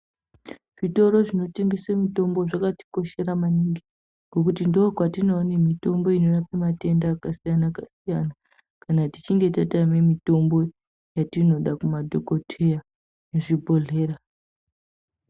Zviroro zvinotengese mitombo zvakatikoshera maninge nekuti ndokwatinoone mitombo inorapa matenda akasiyana siyana kana tichinge tatame mitombo yatinoda kumadhokodheya muzvibhodhlera .